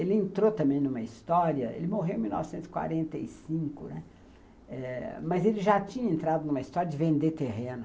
Ele entrou também numa história... Ele morreu em mil novecentos e quarenta e cinco, né, eh, mas ele já tinha entrado numa história de vender terreno.